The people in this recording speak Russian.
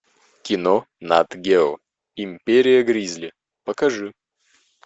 кино нат гео империя гризли покажи